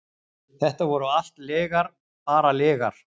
Þetta voru allt lygar, bara lygar.